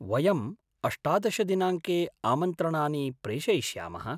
वयं अष्टादश दिनाङ्के आमन्त्रणानि प्रेषयिष्यामः।